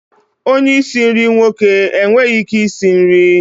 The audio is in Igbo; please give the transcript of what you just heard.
Onye isi nri nwoke enweghị ike isi nri?